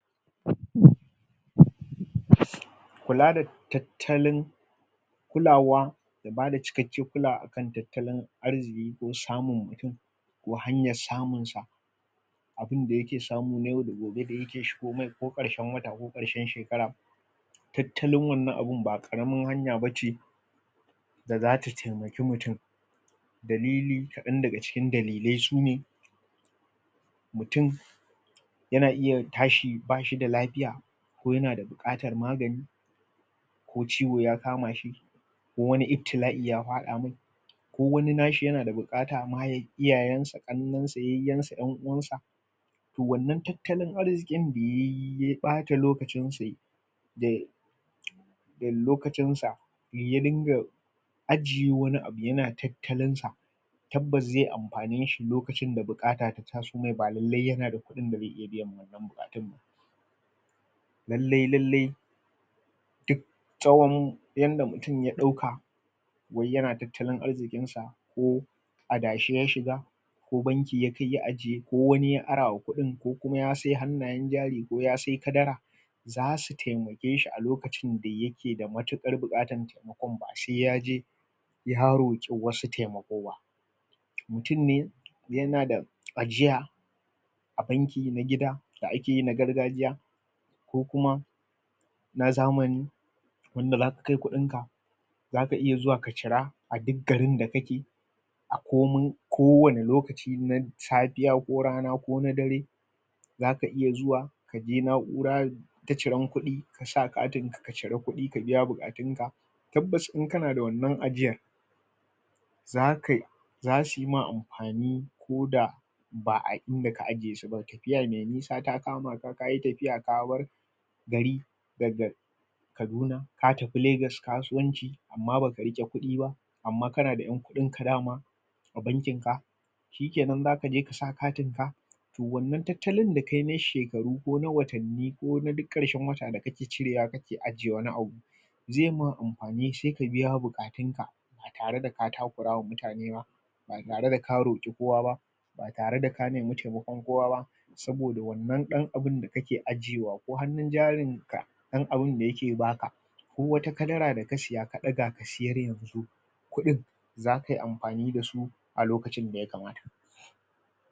kula da tattalin kulawa bada cikakken kulawa kan tattalin arziki ko samun ko hanyan samun sa abinda yake samun na yau da gobe ke shigo masa ko ƙarshen wata ko ƙarshe shekara tattalin wannan abun ba ƙaramin hanya bace da zata taimaki mutum dalilin kadan daga cikin dalilai sune mutum yana iya tashi ba shida lafiya ko yana da buƙatar magani ko ciwo ya kama shi ko wani iftila'i ya faɗa mai ko wani nashi yana da buƙata ma yayi iyayen sa, ƙannen sa, yayyan sa, ƴan'uwan sa toh wannan tattalin arzikin da yayi ya ɓata lokacin sa yayi da da lokacin sa ya dinga ajiye wani abu yana tattalin sa tabbas zai amfane shi lokacin da buƙata ta taso mai ba lallai yana da kudin da zai iya biya ba lallai lallai tsawon yanda mutum ya ɗauka yayi yana tattalin arzikin sa ko adashi ya shiga ko banki ya kai ya ajiye ko wani ya ara wa kudin kuma ya sai hannayen jari ko kuma ya sai kadara zasu taimake shi a lokacin da ya ke da matukar buƙatar ko ba sai yaje ya roƙi wasu taimako ba mutum ne yana da ajiya a bankin na gida da akeyi na gargajiya ko kuma na zamani yanda zaka kai kudin ka zaka iya zuwa ka cira a duk garin da kake a komai ko wanne lokaci yimin safiya ko rana ko dare zaka iya zuwa kaje na'ura ta ciran kuɗi kasa katin ka cira kuɗi ka biya buƙatun ka tabbas in kana da wannan ajiyar zakai zasuyi ma amfani ko da ba'a inda ka ajiye su bane tafiya mai nisa ta kama ka yi tafiya ka bar gari daga kaduna ka tafi lagas kasuwanci amman baka riƙe kuɗi ba amman kana da yan kuɗin ka daman a bankin ka shikenan zaka je kasa katin ka toh wannan tattalin da kayi na shekaru ko na watanni ko na duk ƙarshen shekara da kake cirewa kake ajiye wani abu zai ma amfani sai ka biya buƙatun ka ba tare da ka takurama mutane ba ba tareda ka roƙi kowa ba ba tareda ka nemi taimakon kowa ba saboda wannan ɗan abunda kake ajiyewa ko hannun jarin ka dan abinda yake baka ko wata kadara da ka siya ka ɗaga siyar yanxu kuɗin zakayi amfani da su a lokacin da ya kamata